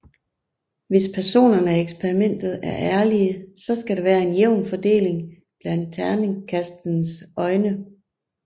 Hvis personerne i eksperimentet er ærlige så skal der være en jævn fordeling blandt terningekastenes øjne